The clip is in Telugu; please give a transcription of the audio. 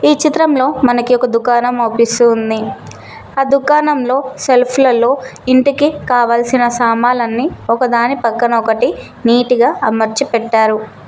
ఈ చిత్రంలో మనకి ఒక దుకాణం అవుపిస్తూ ఉంది ఆ దుకాణంలో సెల్ఫ్ లలో ఇంటికి కావాల్సిన సామాన్లన్నీ ఒకదాని పక్కన ఒకటి నీటిగా అమర్చి పెట్టారు.